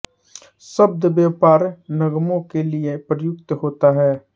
शब्द व्यापार निगमों के लिए प्रयुक्त होता है